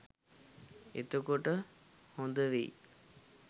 එතකොට හොදවෙයි